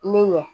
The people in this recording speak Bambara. Ne ye